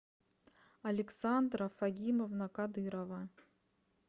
александра фагимовна кадырова